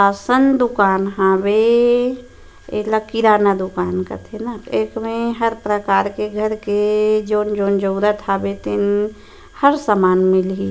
Ration दुकान हवे येला किराना दुकान कथे न एक में हर प्रकार घर के जोन-जोन जरूरत हावे तेन हर समान मिलहि।